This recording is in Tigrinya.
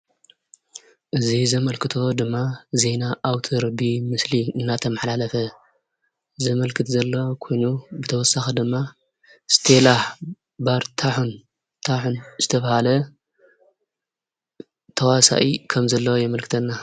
እዚ ዘምልክቶ ድማ ዜና ኣውትር ብምስሊ እንዳተማሓላለፈ ዘመልክት ዘሎ ኮይኑ ብተወሰኪ ድማ እስቴላ ባርታሁን ዝተበሃለ ተዋሰኢ ከም ዘሎዎ የምልክተና።